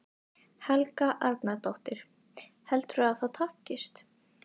Helga Arnardóttir: Heldurðu að það takist?